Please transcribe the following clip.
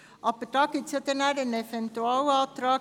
Aber es gibt noch einen Eventualantrag.